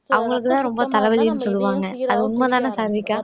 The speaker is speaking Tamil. அவங்களுக்கு தான் ரொம்ப தலைவலின்னு சொல்லுவாங்க அது உண்மைதானே சாருவிக்கா